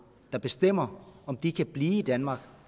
der bestemmer om de kan blive i danmark